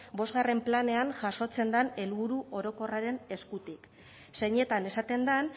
bostgarren planean jasotzen den helburu orokorraren eskutik zeinetan esaten den